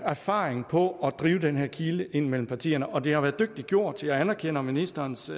erfaring på at drive den her kile ind mellem partierne og det har været dygtigt gjort jeg anerkender ministerens